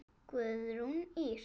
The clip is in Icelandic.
Guðrún Ýr.